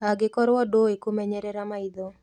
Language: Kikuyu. Angĩkorwo ndũũĩ kũmenyerera maitho